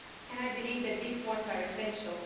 I believe that these points are essential.